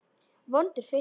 Vondur fiskur.